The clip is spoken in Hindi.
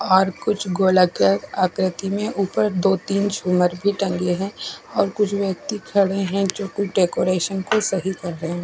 और कुछ गोलाकार आक्रति में ऊपर दो तीन छुमर भी भी टंगे है और कुछ व्यक्ति खड़े है जो को डेकोरेशन को सही कर रहे है।